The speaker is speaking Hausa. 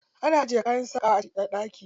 Ana ajiye kayan sakawa a ɗaki.